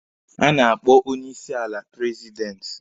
A na-akpọ onye isi ala prezidenti.